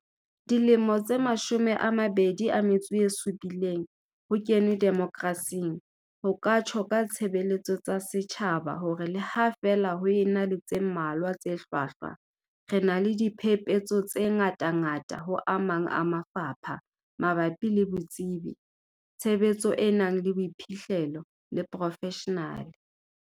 Dilemo tse 27 ho kenwe demokrasing, ho ka tjho ka tshebeletso tsa setjhaba hore le ha feela ho ena le tse mmalwa tse hlwahlwa, re na le diphepetso tse ngatangata ho a mang mafapha mabapi le botsebi, tshebetso e nang le boiphihlelo le profeshenale.